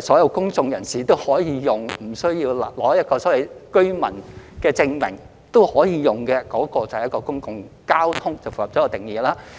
所有公眾人士均可使用，而不需要擁有居民證明都可以使用的，便符合公共交通的定義。